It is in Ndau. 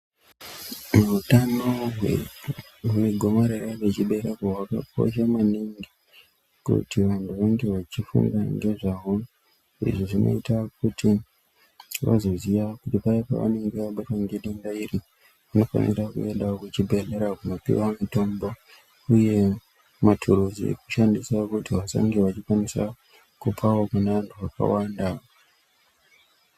Utano hwegomarars rechibereko hwakakosha maningi kuti vanhu vange vachifunga ngezvahwo. Izvi zvinoite kuti vazoziya kuti paya pavanenge vabatwa ngedenda iri vanofanira kuenda kuzvibhedhlera koopuwe mitombo uye maturuzi ekushandisa kuti vange vachikwanisa kupawo kune vanhu vakawanda.